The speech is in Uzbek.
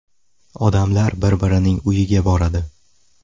Odamlar bir-birining uyiga boradi.